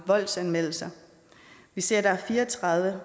voldsanmeldelser vi ser at der er fire og tredive